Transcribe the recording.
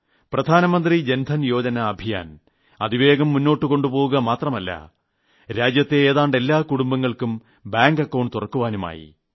പ്രധാനമന്ത്രി ജൻധൻ യോജന അഭിയാൻ അതിവേഗം മുന്നോട്ടുകൊണ്ടുപോകുക മാത്രമല്ല രാജ്യത്തെ ഏതാണ്ട് എല്ലാ കുടുംബങ്ങൾക്കും ബാങ്ക് അക്കൌണ്ട് തുറക്കാനുമായി